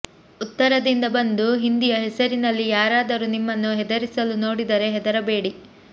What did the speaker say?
ಉತ್ತರದಿಂದ ಬಂದು ಹಿಂದಿಯ ಹೆಸರಿನಲ್ಲಿ ಯಾರಾದರೂ ನಿಮ್ಮನ್ನು ಹೆದರಿಸಲು ನೋಡಿದರೆ ಹೆದರಬೇಡಿ